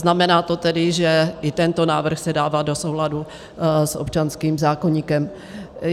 Znamená to tedy, že i tento návrh se dává do souladu s občanským zákoníkem.